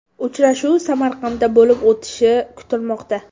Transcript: Uchrashuv Samarqandda bo‘lib o‘tishi kutilmoqda.